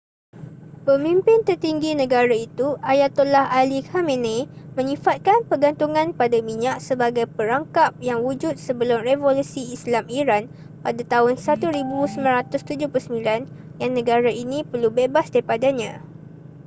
pemimpin tertinggi negara itu ayatollah ali khamenei menyifatkan pergantungan pada minyak sebagai perangkap yang wujud sebelum revolusi islam iran pada tahun 1979 yang negara ini perlu bebas daripadanya